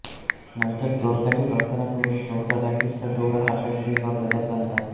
नंतर दोरकाची प्रार्थना करून चौदा गाठींचा दोरा हातात किंवा गळ्यात बांधतात